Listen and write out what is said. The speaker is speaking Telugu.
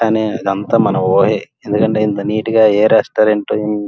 ఇది అంతా మన ఊరే ఇంత నేయట గా ఏ రెస్టారెంట్ --